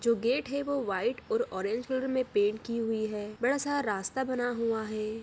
जो गेट है वो ऑरेंज और वाइट कलर में की हुई है बड़ा सा रास्ता बना हुआ है।